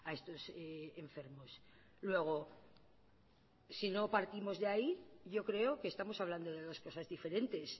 estos enfermos luego si no partimos de ahí yo creo que estamos hablando de dos cosas diferentes